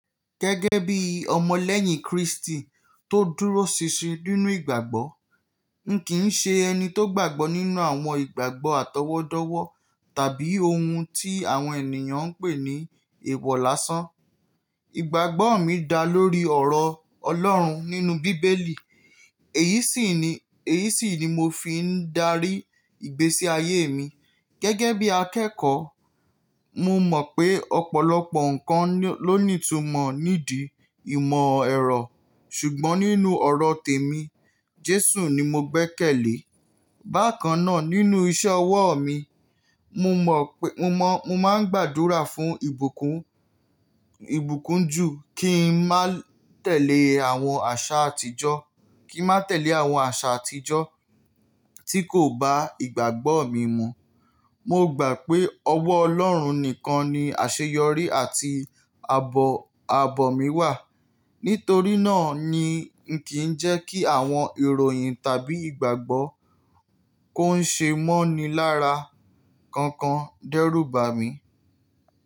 Gẹ́gẹ́ bí ọmọ lẹ́yìn Kristi tó dúró ṣinṣin nínú ìgbàgbọ́, ǹ kí ń ṣe ẹni tó gbàgbọ́ nínú àwọn ìgbàgbọ́ atọwọdọwọ tàbí ohun tí àwọn ènìyàn ń pè ní eewọ láṣán. Ìgbàgbọ́ mi dá lórí ọ̀rọ̀ Ọlọ́run nínú bíbélì, èyí sì ni, èyí sì ni mo fi ń darí ìgbésí ayé mi. Gẹ́gẹ́ bí akẹ́kọ̀ọ́, mo mọ̀ pé ọ̀pọ̀lọpọ̀ nǹkan ló ní ìtumọ̀ nídìí ìmọ̀ ẹ̀rọ ṣùgbọ́n nínú ọ̀rọ̀ tèmi Jésù ni mo gbẹ́kẹ̀lé. Bákan náà nínú iṣẹ́ ọwọ́ mi, mo mọ̀ pé, mo mọ̀, mo máa ń gbàdúrà fún ìbùkún, ìbùkún ju kí ń má tẹ̀lé àwọn àṣà àtijọ́, kí ń má tẹ̀lé àwọn àṣà àtijọ́ tí kò ba ìgbàgbọ́ mi mu. Mo gbà pé ọwọ́ Ọlọ́run nìkan ni àṣeyọrí àti aabọ̀, asbọ̀ mí wà. Nítorí náà ni ǹ kí ń jẹ́ kí àwọn ìròyìn tàbí ìgbàgbọ́ tó ń ṣe mọ́ni lára kankan dẹ́rùbà mi.